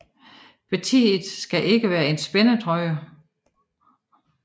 Partiet skal ikke være en spændetrøje